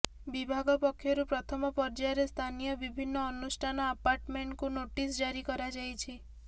ବିଭାଗ ପକ୍ଷରୁ ପ୍ରଥମ ପର୍ଯ୍ୟାୟରେ ସ୍ଥାନୀୟ ବିଭିନ୍ନ ଅନୁଷ୍ଠାନ ଆପାର୍ଟମେଣ୍ଟକୁ ନୋଟିସ ଜାରି କରାଯାଇଛି